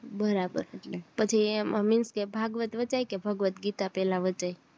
બરાબર બધી એમ means કે ભાગવત વચાય કે ભગવત ગીતા પેલા વચાય